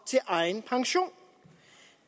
til egen pension